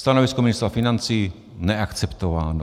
Stanovisko ministra financí - neakceptováno.